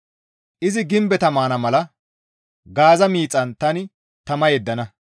Izi gimbeta maana mala Gaaza miixan tani tama yeddana.